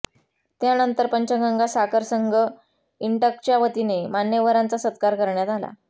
यानंतर पंचगंगा साखर संघ इंटकच्या वतीने मान्यवरांचा सत्कार करण्यात आला